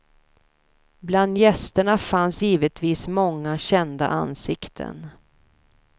Bland gästerna fanns givetvis många kända ansikten.